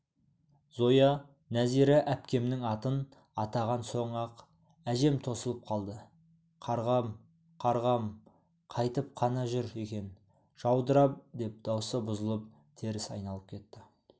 зоя нәзира әпкемнің атын атаған соң-ақ әжем тосылып қалды қарғам қарғам қайтып қана жүр екен жаудырап деп даусы бұзылып теріс айналып кетті